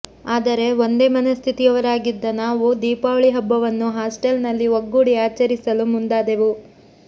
ಆದರೆ ಒಂದೇ ಮನಸ್ಥಿತಿಯವರಾಗಿದ್ದ ನಾವು ದೀಪಾವಳಿ ಹಬ್ಬವನ್ನು ಹಾಸ್ಟೆಲ್ನಲ್ಲಿ ಒಗ್ಗೂಡಿ ಆಚರಿಸಲು ಮುಂದಾದೆವು